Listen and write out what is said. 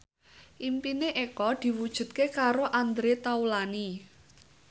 impine Eko diwujudke karo Andre Taulany